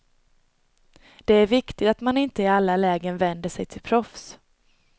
Det är viktigt att man inte i alla lägen vänder sig till proffs.